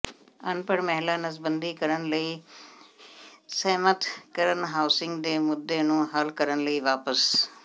ਅਨਪੜ੍ਹ ਮਹਿਲਾ ਨਸਬੰਦੀ ਕਰਨ ਲਈ ਸਹਿਮਤ ਕਰਨ ਹਾਊਸਿੰਗ ਦੇ ਮੁੱਦੇ ਨੂੰ ਹੱਲ ਕਰਨ ਲਈ ਵਾਪਸ